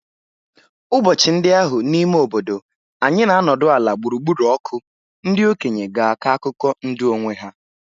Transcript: Ụbọchị ndị ahụ n'ime obodo anyị na-anọdụ ala gburugburu ọkụ, ndị okenye ga-akọ akụkọ ndụ onwe ha.